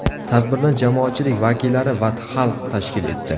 Tadbirni jamoatchilik vakillari va xalq tashkil etdi.